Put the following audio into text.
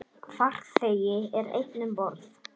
Farþegi er einn um borð.